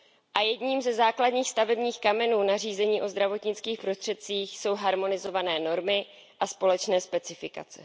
Za třetí, jedním ze základních stavebních kamenů nařízení o zdravotnických prostředcích jsou harmonizované normy a společné specifikace.